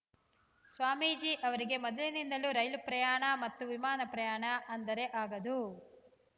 ಸ್ವಾಮೀಜಿ ಅವರಿಗೆ ಮೊದಲಿನಿಂದಲೂ ರೈಲು ಪ್ರಯಾಣ ಮತ್ತು ವಿಮಾನ ಪ್ರಯಾಣ ಅಂದರೆ ಆಗದು